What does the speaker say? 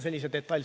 Ei ole.